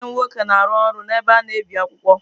Nwanne m nwoke na-arụ ọrụ n’ebe a na-ebi akwụkwọ.